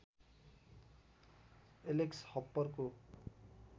Alex हप्परको